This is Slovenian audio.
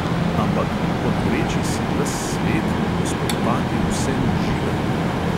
Ampak: podvreči si ves svet, gospodovati vsemu živemu!?